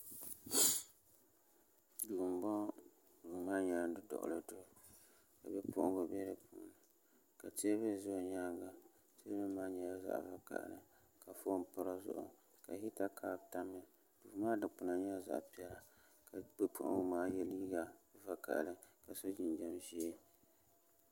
Duu n boŋo duu maa nyɛla duduɣuli duu ka bipuɣunbili bɛ dinni ka teebuli ʒɛ o nyanga teebuli maa nyɛla zaɣ vakaɣali ka foon pa di zuɣu ka hita kaap tamya duu maa dikpuna nyɛla zaɣ piɛlli ka o yɛ liiga vakaɣali ka so jinjɛm ʒiɛ